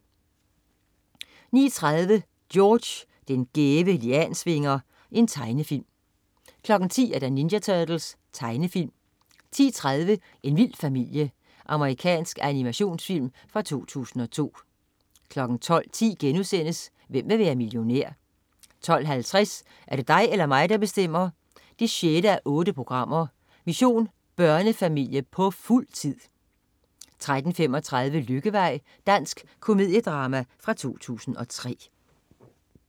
09.30 George den gæve Liansvinger. Tegnefilm 10.00 Ninja Turtles. Tegnefilm 10.30 En vild familie. Amerikansk animations-film fra 2002 12.10 Hvem vil være millionær?* 12.50 Er det dig eller mig, der bestemmer? 6:8. Mission børnefamilie på fuld tid! 13.35 Lykkevej. Dansk komediedrama fra 2003